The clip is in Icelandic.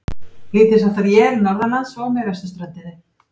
Lítilsháttar él norðanlands og með vesturströndinni